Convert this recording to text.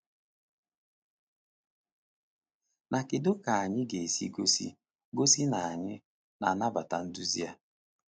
Na kedu ka anyị ga-esi gosi gosi na anyị na-anabata nduzi a?